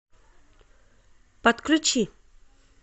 подключи